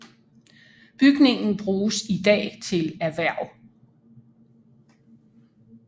Bygningen bruges i dag til erhverv